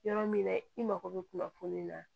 Yɔrɔ min na i mako bɛ kunnafoni na